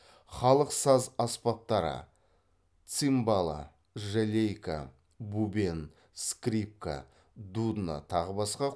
халық саз аспаптары цимбалы жалейка бубен скрипка дудна тағы басқа